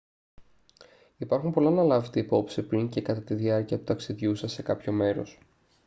υπάρχουν πολλά να λάβετε υπόψη πριν και κατά τη διάρκεια του ταξιδιού σας σε κάποιο μέρος